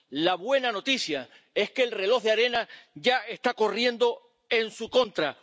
La buena noticia es que el reloj de arena ya está corriendo en su contra.